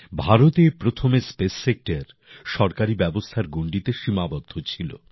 ভারতে প্রথমে space sector সরকারী ব্যবস্থার গণ্ডীতে সীমাবদ্ধ ছিল